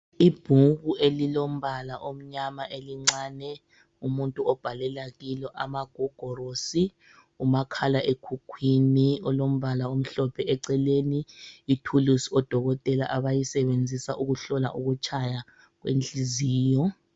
Ibhuku elilombala omnyama elincane umuntu obhalela kilo, amagogorosi, umakhala ekhukhwini olombala omhlophe eceleni ithulusi odokotela abalisebenzisa ukuhlola ukutshaya kwenhliziyo.